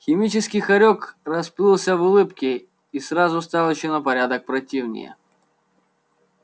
химический хорёк расплылся в улыбке и сразу стал ещё на порядок противнее